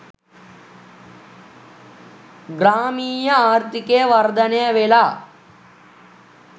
ග්‍රාමීය ආර්ථිකය වර්ධනය වෙලා.